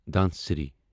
Dhansiri